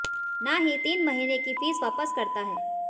ना ही तीन महीने की फीस वापस करता है